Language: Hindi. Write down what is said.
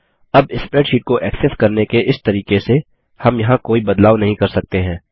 अब स्प्रैडशीट को एक्सेस करने के इस तरीके से हम यहाँ कोई बदलाव नहीं कर सकते हैं